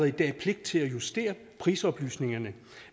i dag pligt til at justere prisoplysningerne